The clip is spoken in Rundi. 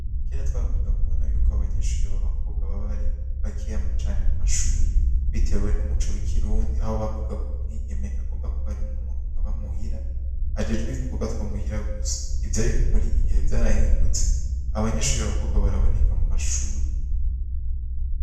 Kera twakunda kubona yuko abanyeshuri b'abakobwa baba ari bakiyacane mu mashuri bitewe n'umuco w'ikirundi aho bavuga ko mwigeme agomba kuba ari umuntu abamuhira ajejwiidukobwa twamuhira gusa ivyo ariko muri iki gihe vyarahindutse abanyeshuri b'abakobwa baraboneka mu mashuri.